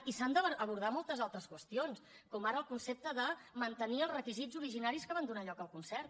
i s’han d’abordar moltes altres qüestions com ara el concepte de mantenir els requisits originaris que van donar lloc al concert